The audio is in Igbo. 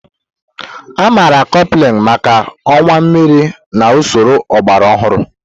Amaara Kopuhaghen maka ọwa mmiri na usoro ọgbara ọhụrụ.